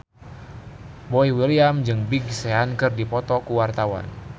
Boy William jeung Big Sean keur dipoto ku wartawan